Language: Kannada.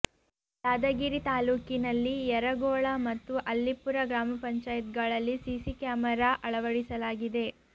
ಯಾದಗಿರಿ ತಾಲೂಕಿನಲ್ಲಿ ಯರಗೋಳ ಮತ್ತು ಅಲ್ಲಿಪುರ ಗ್ರಾಪಂಗಳಲ್ಲಿ ಸಿಸಿ ಕ್ಯಾಮರಾ ಅಳವಡಿಸಲಾಗಿದೆ